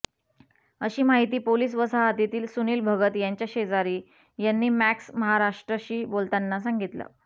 अशी माहिती पोलीस वसाहतील सुनील भगत यांच्या शेजारी यांनी मॅक्स महाराष्ट्रशी बोलताना सांगितलं